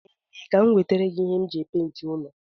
E mesịa ka m nwetara gi ihe m ji epenti ụlọ